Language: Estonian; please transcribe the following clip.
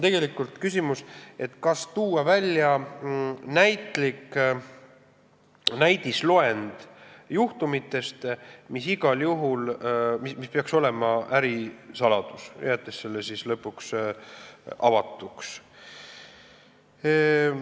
Tegelikult on küsimus, kas tuua välja näitlik näidisloend juhtumitest, mille korral igal juhul peaks olema tegemist ärisaladusega, jättes selle loendi lõpuks avatuks.